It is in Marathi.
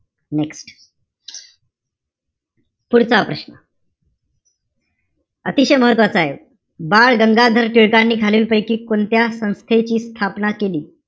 Next पुढचा प्रश्न. अतिशय महत्वाचायं. बालगंगाधर टिळकांनी खालील पैकी कोणत्या संस्थेची स्थापना केली?